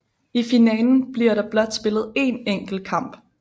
I finalen bliver der blot spillet én enkelt kamp